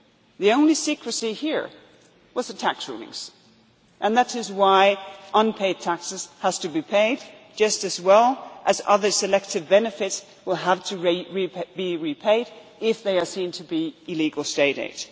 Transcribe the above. The only secrecy here was the tax rulings and that is why unpaid taxes have to be paid, just as well as other selective benefits will have to be repaid if they are seen to be illegal State